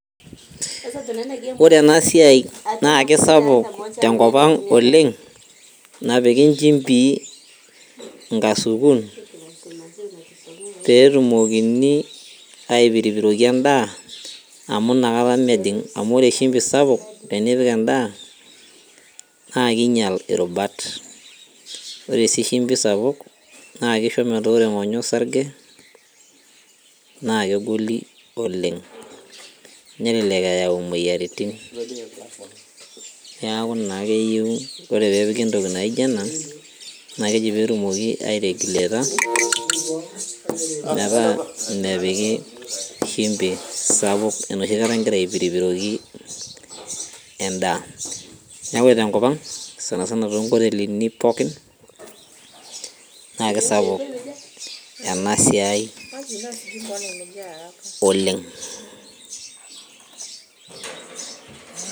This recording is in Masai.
Ore ena siai naa kisapuk tenkop ang oleng napiki inchimbin inkasukun petumokini aipiripiroki endaa amu inakata mejing amu ore shimbi sapuk tenipik endaa naa kinyial irubat ore sii shimbi sapuk naa kisho metaa ore ing'onyo osarge naa kegoli oleng nelelek eyau imoyiaritin niaku naa keyieu ore peepiki entoki naijio ena naa keji petumoki ae regiuleta metaa mepiki shimbi sapuk enoshi kata ingira aipiripiroki endaa niaku ore tenkop ang sanasana tonkotelini pookin naa kisapuk ena siai oleng.